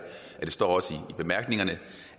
og det står også i bemærkningerne